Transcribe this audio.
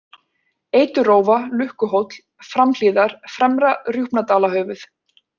Eiturrófa, Lukkuhóll, Framhlíðar, Fremra-Rjúpnadalahöfuð